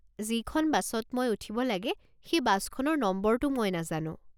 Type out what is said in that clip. যিখন বাছত মই উঠিব লাগে সেই বাছখনৰ নম্বৰটো মই নাজানো।